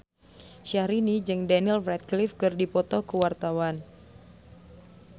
Syahrini jeung Daniel Radcliffe keur dipoto ku wartawan